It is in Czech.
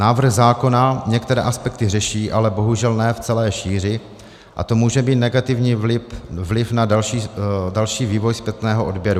Návrh zákona některé aspekty řeší, ale bohužel ne v celé šíři, a to může mít negativní vliv na další vývoj zpětného odběru.